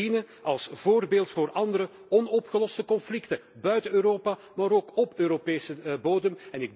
Het moet dienen als voorbeeld voor andere onopgeloste conflicten buiten Europa, maar ook op Europese bodem.